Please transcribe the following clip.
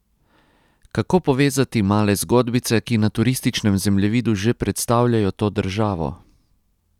Kako povezati male zgodbice, ki na turističnem zemljevidu že predstavljajo to državo?